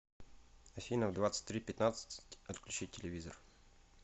афина в двадцать три пятнадцать отключить телевизор